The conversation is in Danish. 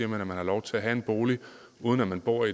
man har lov til at have en bolig uden at man bor